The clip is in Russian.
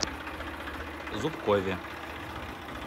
зубкове